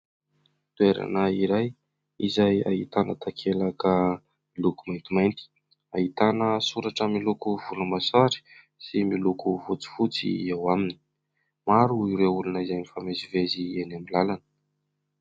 Toerana iray izay ahitana takelaka miloko maintimainty, ahitana soratra miloko volomboasary sy miloko fotsifotsy eo aminy ; maro ireo olona izay mifamezivezy eny amin'ny lalana.